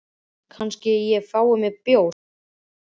Kannski ég fái mér bjór, sagði Stefán.